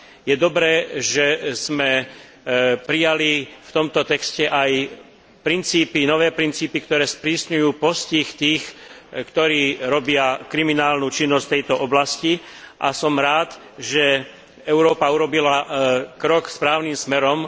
Je dobré, že sme prijali v tomto texte aj princípy, nové princípy, ktoré sprísňujú postih tých, ktorí robia kriminálnu činnosť v tejto oblasti, a som rád, že Európa urobila krok správnym smerom.